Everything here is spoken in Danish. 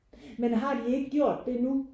Men har de ikke gjort det nu?